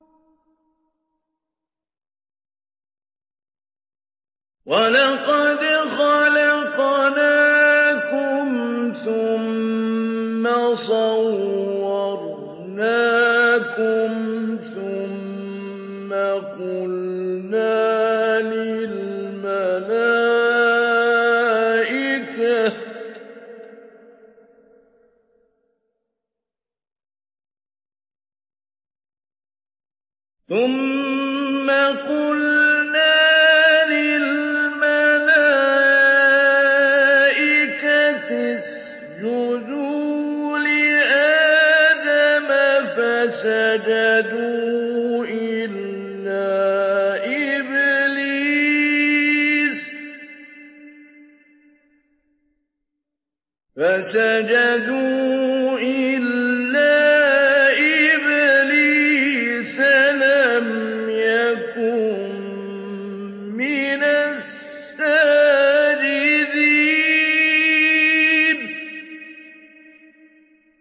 وَلَقَدْ خَلَقْنَاكُمْ ثُمَّ صَوَّرْنَاكُمْ ثُمَّ قُلْنَا لِلْمَلَائِكَةِ اسْجُدُوا لِآدَمَ فَسَجَدُوا إِلَّا إِبْلِيسَ لَمْ يَكُن مِّنَ السَّاجِدِينَ